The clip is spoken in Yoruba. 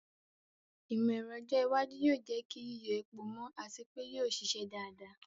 Ìmọ̀ ẹ̀rọ ọjọ́ iwájú yóò jẹ́ kí yíyọ epo mọ́ àti pé yóò ṣiṣẹ́ dáadáa.